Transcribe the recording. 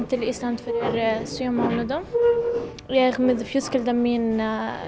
til Íslands fyrir sjö mánuðum og fjölskyldan mín